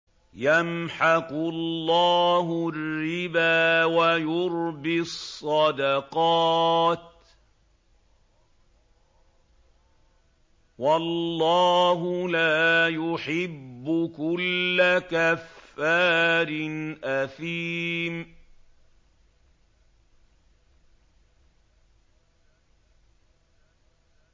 يَمْحَقُ اللَّهُ الرِّبَا وَيُرْبِي الصَّدَقَاتِ ۗ وَاللَّهُ لَا يُحِبُّ كُلَّ كَفَّارٍ أَثِيمٍ